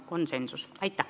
Aitäh!